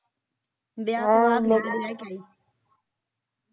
ਵਿਆਹ ਹੈ ਵਿਆਹ